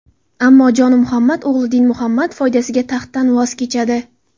Ammo Jonimuhammad o‘g‘li Dinmuhammad foydasiga taxtdan voz kechadi.